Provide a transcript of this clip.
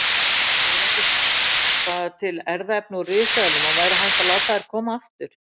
Er einhvers staðar til erfðaefni úr risaeðlum og væri hægt að láta þær koma aftur?